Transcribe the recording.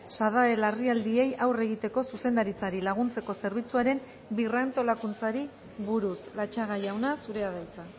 sadae larrialdiei aurre egiteko zuzendaritzari laguntzeko zerbitzuaren birrantolakuntzari buruz latxaga jauna zurea da hitza